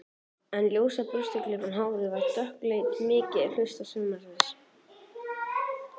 En ljósa burstaklippta hárið var dökkleitt mikinn hluta sumarsins.